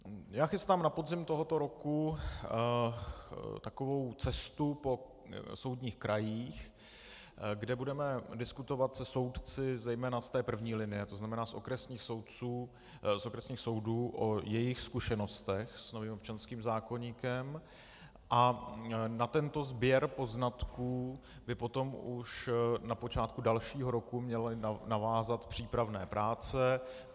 Já chystám na podzim tohoto roku takovou cestu po soudních krajích, kde budeme diskutovat se soudci zejména z té první linie, to znamená z okresních soudů, o jejich zkušenostech s novým občanským zákoníkem, a na tento sběr poznatků by potom už na počátku dalšího roku měly navázat přípravné práce.